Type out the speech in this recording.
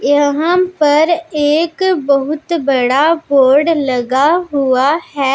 यहां पर एक बहुत बड़ा बोर्ड लगा हुआ है।